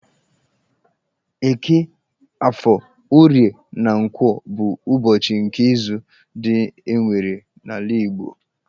Eke, Afọ, Orie, na Nkwọ bụ ụbọchị nke izu ndị e nwere n'ala Igbo.